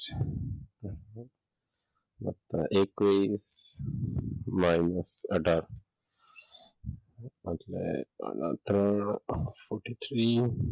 એકવીસ માઇનસ આધાર એટ્લે